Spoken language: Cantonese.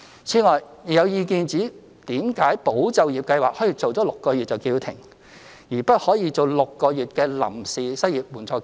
此外，亦有意見指，為甚麼"保就業"計劃可以做6個月便叫停，而不可以做6個月的臨時失業援助金？